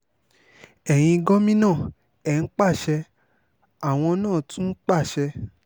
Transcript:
ẹ̀yin gómìnà ẹ̀ ń pàṣẹ àwọn náà tún ń pàṣẹ